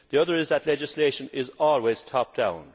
The other is that legislation is always top down'.